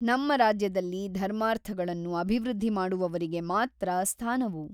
ನಮ್ಮ ರಾಜ್ಯದಲ್ಲಿ ಧರ್ಮಾರ್ಥಗಳನ್ನು ಅಭಿವೃದ್ಧಿ ಮಾಡುವವರಿಗೆ ಮಾತ್ರ ಸ್ಥಾನವು.